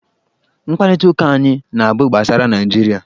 Mkparịta ụka anyị na-abụ gbasara Naịjirịa.